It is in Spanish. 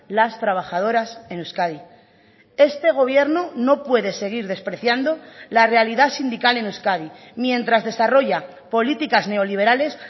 las trabajadoras en euskadi este gobierno no puede seguir despreciando la realidad sindical en euskadi mientras desarrolla políticas neoliberales